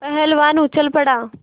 पहलवान उछल पड़ा